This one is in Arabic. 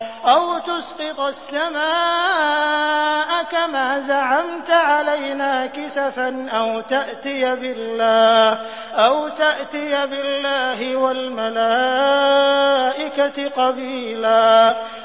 أَوْ تُسْقِطَ السَّمَاءَ كَمَا زَعَمْتَ عَلَيْنَا كِسَفًا أَوْ تَأْتِيَ بِاللَّهِ وَالْمَلَائِكَةِ قَبِيلًا